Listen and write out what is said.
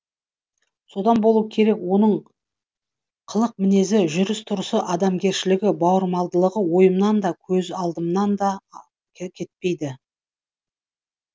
содан болу керек оның қылық мінезі жүріс тұрысы адамгершілігі бауырмалдығы ойымнан да көз алдымнан да кетпейді